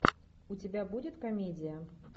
у тебя будет комедия